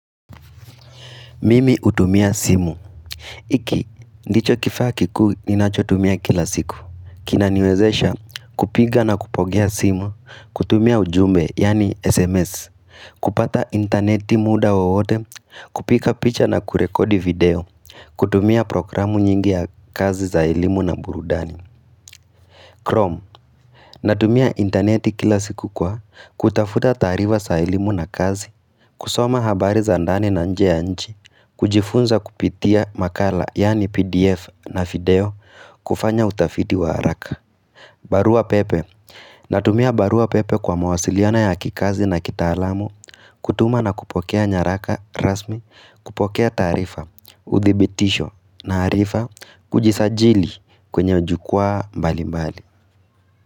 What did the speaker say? Mimi hutumia simu hiki, ndicho kifaa kikuu ninachotumia kila siku Kinaniwezesha kupiga na kupokea simu kutumia ujumbe, yaani SMS kupata interneti muda wowote kupika picha na kurekodi video kutumia programu nyingi ya kazi za elimu na burudani Chrome Natumia interneti kila siku kwa kutafuta taarifa za elimu na kazi kusoma habari za ndani na nje ya nchi kujifunza kupitia makala yani pdf na video kufanya utafiti wa haraka barua pepe Natumia barua pepe kwa mawasiliano ya kikazi na kitaalamu kutuma na kupokea nyaraka rasmi kupokea taarifa, uthibitisho na arifa Kujisajili kwenye jukwaa mbali mbali.